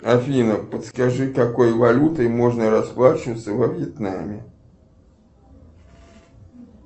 афина подскажи какой валютой можно расплачиваться во вьетнаме